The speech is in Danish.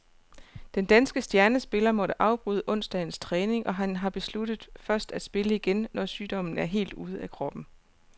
Den danske stjernespiller måtte afbryde onsdagens træning, og han har besluttet først at spille igen, når sygdommen er helt ude af kroppen.